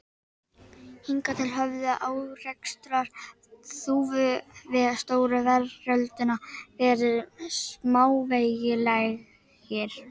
Hingað til höfðu árekstrar Þúfu við stóru veröldina verið smávægilegir.